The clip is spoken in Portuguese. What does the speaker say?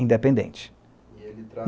Independente. E ele